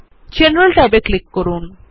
general ট্যাবে click করুন